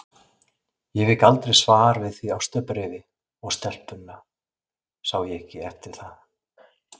Ég fékk aldrei svar við því ástarbréfi, og stelpuna sá ég ekki eftir það.